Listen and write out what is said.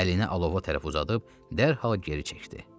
Əlini alova tərəf uzadıb, dərhal geri çəkdi.